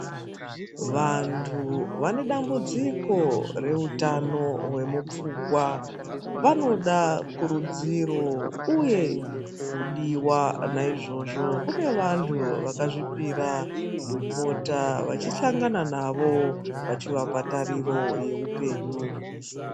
Vantu vane dambudziko reutano hwemupfungwa, vanoda kurudziro uye kudiwa. Naizvozvo kune vantu vakazvipira kupota vachihlangana navo vachivapa tariro yeupenyu.